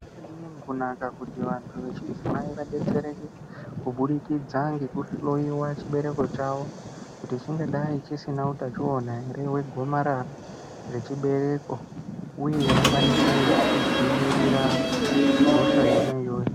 Zvakadini kunaka kuti vantu vechidzimai vadetsereke kubudikidza ngekuhloiwa chibereko chavo, kuti chingadai chisina utachiona ere hwegomarara rechibereko ,uye vakwanise kudzivirira hosha yona iyoyo.